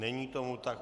Není tomu tak.